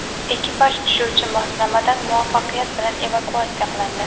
Ekipaj tushuvchi moslamadan muvaffaqiyat bilan evakuatsiya qilindi.